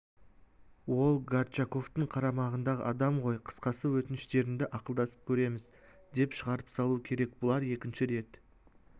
ол горчаковтың қарамағындағы адам ғой қысқасы өтініштеріңді ақылдасып көрерміз деп шығарып салу керек бұлар екінші рет